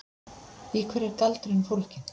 Í hverju er galdurinn fólginn?